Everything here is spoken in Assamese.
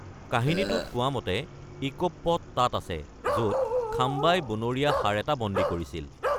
কাহিনীটোত কোৱামতে ইকোপ পট তাত আছে, য'ত খাম্বাই বনৰীয়া ষাঁড় এটা বন্দী কৰিছিল।